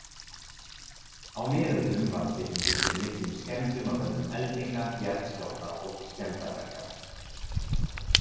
Á miðöldum varð byggingin fyrir miklum skemmdum af völdum eldinga, jarðskjálfta og skemmdarverka.